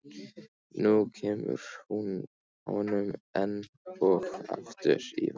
Nú kemur hún honum enn og aftur í vanda.